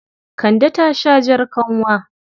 Kande ta sha jar kanwa.